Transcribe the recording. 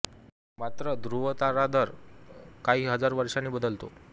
मात्र धृव तारा दर काही हजार वर्षांनी बदलतो